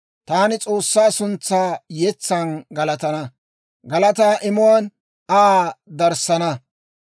Taani S'oossaa suntsaa yetsan galatana; galataa imuwaan Aa darssana.